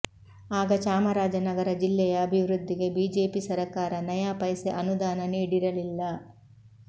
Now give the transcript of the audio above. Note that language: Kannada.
ಆಗ ಚಾಮರಾಜನಗರ ಜಿಲ್ಲೆಯ ಅಭಿವೃದ್ಧಿಗೆ ಬಿಜೆಪಿ ಸರಕಾರ ನಯಾಪೈಸೆ ಅನುದಾನ ನೀಡಿರಲಿಲ್ಲ